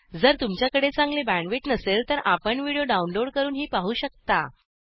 जर तुमच्याकडे चांगली बॅण्डविड्थ नसेल तर आपण व्हिडिओ डाउनलोड करूनही पाहू शकता